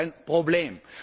Das ist ein Problem.